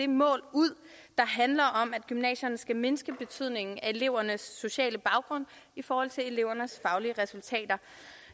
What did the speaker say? mål ud der handler om at gymnasierne skal mindske betydningen af elevernes sociale baggrund i forhold til elevernes faglige resultater